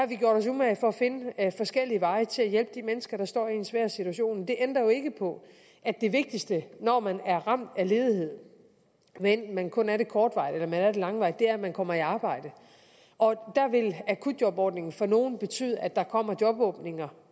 vi gjort os umage for at finde forskellige veje til at hjælpe de mennesker der står i en svær situation men det ændrer jo ikke på at det vigtigste når man er ramt af ledighed hvad enten man kun er det kortvarigt eller langvarigt er at man kommer i arbejde og der vil akutjobordningen for nogle betyde at der kommer jobåbninger